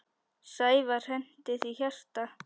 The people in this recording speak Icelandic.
Sævar henti því hjarta.